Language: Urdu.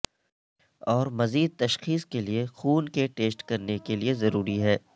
اور مزید تشخیص کے لئے خون کے ٹیسٹ کرنے کے لئے ضروری ہے